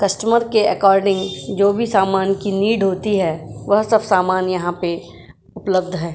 Customer के according जो भी सामान की नीड होती है वह सब सामान यहाँ पे उपलब्ध है।